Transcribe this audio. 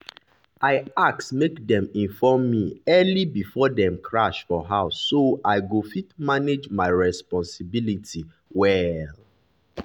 i ask make dem inform me early before dem crash for house so i go fit manage my responsibility well.